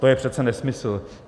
To je přece nesmysl.